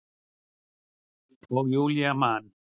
Og Júlía man.